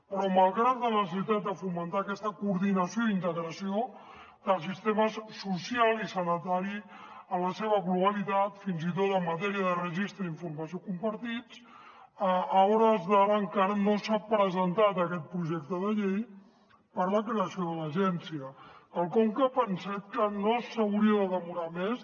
però malgrat la necessitat de fomentar aquesta coordinació i integració dels sistemes social i sanitari en la seva globalitat fins i tot en matèria de registre i informació compartits a hores d’ara encara no s’ha presentat aquest projecte de llei per a la creació de l’agència quelcom que pensem que no s’hauria de demorar més